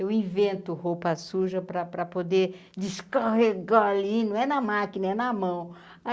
Eu invento roupa suja para para poder descarregar ali, não é na máquina, é na mão.